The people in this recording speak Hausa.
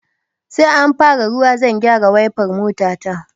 Sai an fara ruwa zan gyara waifar mota ta